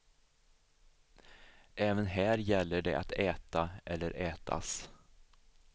Även här gäller det att äta eller ätas.